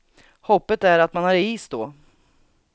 Hoppet är att man har is då.